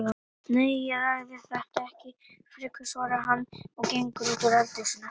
Nei, ég ræði þetta ekki frekar, svarar hann og gengur út úr eldhúsinu.